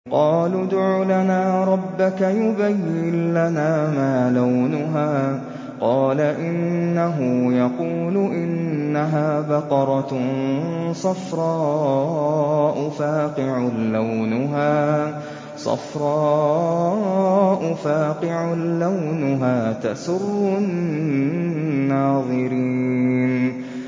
قَالُوا ادْعُ لَنَا رَبَّكَ يُبَيِّن لَّنَا مَا لَوْنُهَا ۚ قَالَ إِنَّهُ يَقُولُ إِنَّهَا بَقَرَةٌ صَفْرَاءُ فَاقِعٌ لَّوْنُهَا تَسُرُّ النَّاظِرِينَ